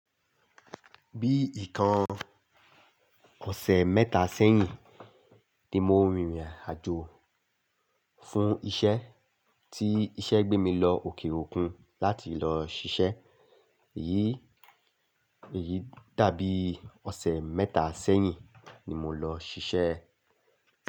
Bí i ìkan ọ̀sẹ̀ mẹ́ta sẹ́yìn ni mo rìnrìn àjò fún iṣẹ́ tí iṣẹ́ gbé mi lọ òkè òkun láti lọ ṣiṣẹ́. Èyí, èyí dàbí ọ̀sẹ̀ mẹ́ta sẹ́yìn ni mo lọ ṣiṣẹ́